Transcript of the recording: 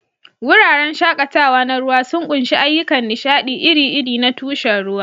Wuraren shakatawa na ruwa sun ƙunshi ayyukan nishaɗi iri-iri na tushen ruwa.